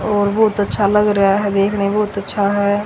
और बहुत अच्छा लग रहा है देखने बहुत अच्छा है।